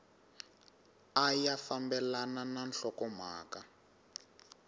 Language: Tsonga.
a ya fambelani na nhlokomhaka